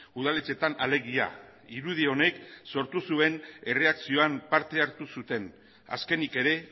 udaletxeetan alegia irudi honek sortu zuen erreakzioan parte hartu zuten azkenik ere